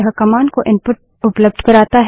यह कमांड को इनपुट उपलब्ध कराता है